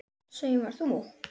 Saumar þú?